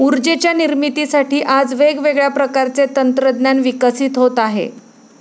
उर्जेच्या निर्मितीसाठी आज वेगवेगळ्या प्रकारचे तंत्रज्ञान विकसित होत आहे.